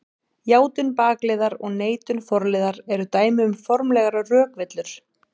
Játun bakliðar og neitun forliðar eru dæmi um formlegar rökvillur.